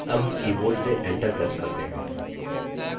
अब हम keyboard से enter press करते हैं